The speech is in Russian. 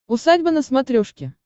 усадьба на смотрешке